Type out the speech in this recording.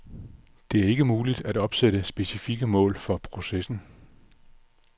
Det er ikke muligt at opsætte specifikke mål for processen.